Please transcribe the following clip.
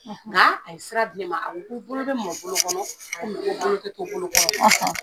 Nka a sira di ne ma, a ko bolo bɛ mɔn bolo kɔnɔn ko bolo tɛ to bolo kɔnɔn,